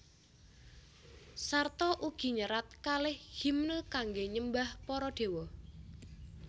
Sarta ugi nyerat kalih himne kangge nyembah para dewa